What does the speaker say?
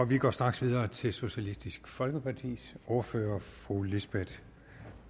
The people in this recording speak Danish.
vi går straks videre til socialistisk folkepartis ordfører fru lisbeth